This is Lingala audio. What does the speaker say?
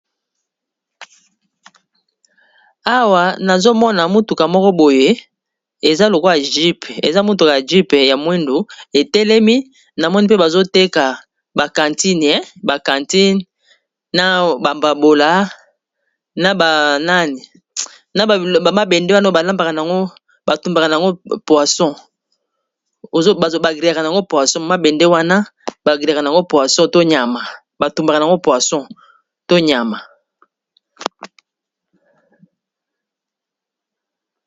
awa nazomona motuka moko boye eza lokwa gype eza motuka gype ya mwendo etelemi na moni mpe bazoteka bakantine bakantine na bambabola na banani na bamabende wana baaka angobatumago poasobagriaka ango poisson amabende wana batumbaka ango poison tonyama